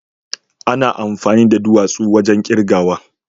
ana amfani da duwatsu wajen kirgawa.